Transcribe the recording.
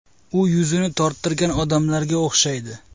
U yuzini torttirgan odamlarga o‘xshaydi.